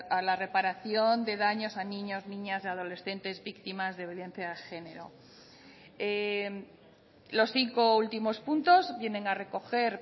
a la reparación de daños a niños niñas y adolescentes víctimas de violencia de género los cinco últimos puntos vienen a recoger